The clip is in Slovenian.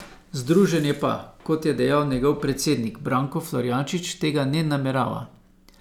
Združenje pa, kot je dejal njegov predsednik Branko Florjanič, tega ne namerava.